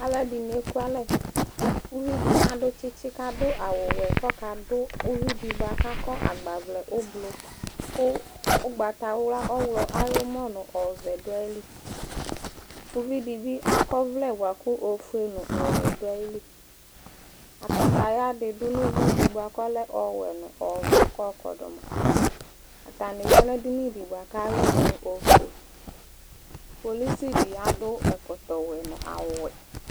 alò ɛdini eku alɛ uvi di adu tsitsi k'adu awu wɛ k'ɔka do uvi di boa k'akɔ agbavlɛ ublu kò ugbata wla ɔwlɔ ayi umɔ no ɔvɛ do ayili uvi di bi akɔ ɔvlɛ boa kò ofue no ɔwɛ do ayili kataya di do no uvi di boa k'ɔlɛ ɔwɛ no ɔvɛ k'ɔkɔdu ma atani ya n'edini di boa k'awi n'ofue polisi di adu ɛkɔtɔ wɛ n'awu wɛ